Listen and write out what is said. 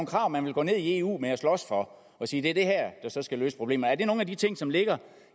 krav man vil gå ned i eu med og slås for og sige er det der skal løse problemerne er det nogle af de ting som ligger